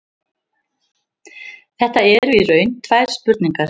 Þetta eru í raun tvær spurningar.